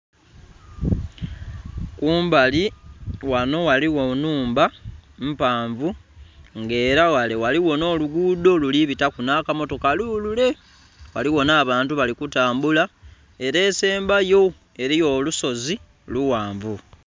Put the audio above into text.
Kumbali ghano ghaliwo nhumba mpanvu nga era ghale ghaligho nh'olugudo luli bitaku nh'akamotoka lulule. Ghaligho nh'abantu bali kutambula. Ere esembayo eliyo olusozi lughanvu.